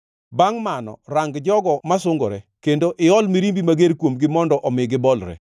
Bangʼ mano rang jogo ma sungore, kendo iol mirimbi mager kuomgi mondo omi gibolre.